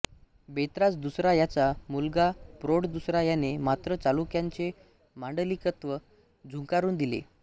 बेतराज दुसरा याचा मुलगा प्रोळ दुसरा याने मात्र चालुक्यांचे मांडलिकत्व झुगारून दिले